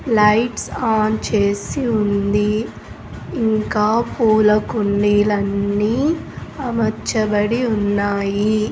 Lights on చేసి ఉంది ఇంకా పూల కుండీలన్నీ అమర్చబడి ఉన్నాయి.